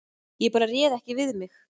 Ég bara réð ekki við mig